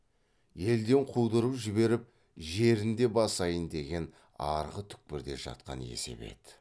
елден қудырып жіберіп жерін де басайын деген арғы түкпірде жатқан есебі еді